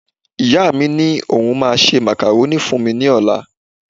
ìyá mi ni pe oun ma se macaroni fún mi ní ọlá